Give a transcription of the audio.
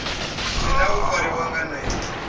tenda u fariwa nga nḓila